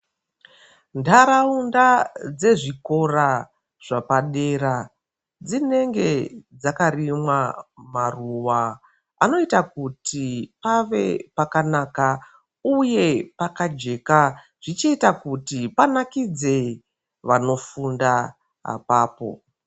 Ntaraunda dzezvikora zvapadera dzinenge dzakarinaa maruwa anoita kuti pave pakanaka uye pakajeka zvichiita kuti panakidze vanofunda apapo.